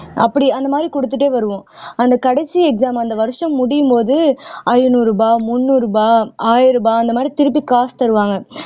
அப்படி அந்த மாறி கொடுத்துட்டே வருவோம் அந்த கடைசி exam அந்த வருஷம் முடியும்போது ஐநூறு ரூபாய் முந்நூறு ரூபாய் ஆயிரம் ரூபாய் அந்த மாதிரி திருப்பி காசு தருவாங்க